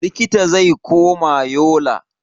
Likita zai koma Yola.